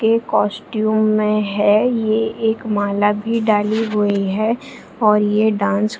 ये कॉस्टयूम में है ये एक माला भी डाली हुई है और ये डांस --